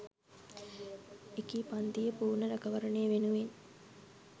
එකී පංතියේ පූර්ණ රැකවරණය වෙනුවෙන්